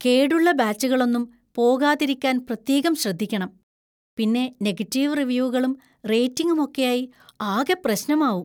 കേടുള്ള ബാച്ചുകളൊന്നും പോകാതിരിക്കാൻ പ്രത്യേകം ശ്രദ്ധിക്കണം; പിന്നെ നെഗറ്റീവ് റിവ്യൂകളും റേറ്റിംഗും ഒക്കെയായി ആകെ പ്രശ്നമാവും.